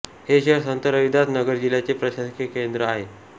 हे शहर संत रविदास नगर जिल्ह्याचे प्रशासकीय केंद्र आहे